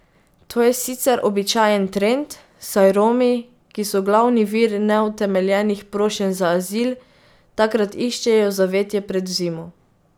To je sicer običajen trend, saj Romi, ki so glavni vir neutemeljenih prošenj za azil, takrat iščejo zavetje pred zimo.